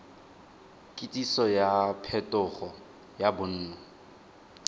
kitsiso ya phetogo ya bonno